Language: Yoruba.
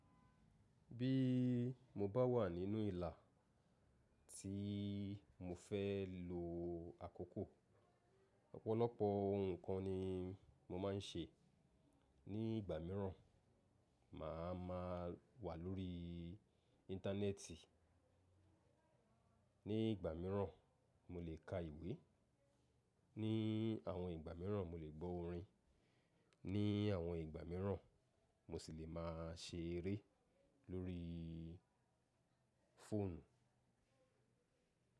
Bí mo bá wà nínú ìlà tí mo fẹ́ lo àkókò, ọ̀pọ̀lọpọ̀ nǹkan ni mo máa ń ṣe. Ní ìgbà míràn, màá maa wà lórí íńtánẹ́ẹ̀tì, ní ìgbà míràn mo lè ka ìwé, ní àwọn ìgbà míràn mo lè gbọ́ orin, ní àwọn ìgbà míràn mo sì lè máa ṣe eré lórí fóònù.